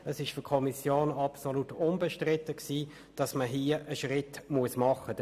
Es war für die Kommission absolut unbestritten, dass hier ein Schritt gemacht werden muss.